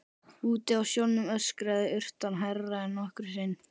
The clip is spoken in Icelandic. Úti á sjónum öskraði urtan hærra en nokkru sinni.